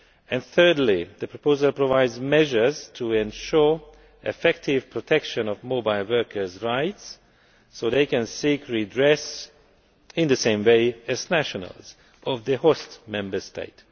And thirdly, the proposal provides measures to ensure the effective protection of mobile workersʼ rights so they can seek redress in the same way as nationals of the host Member State.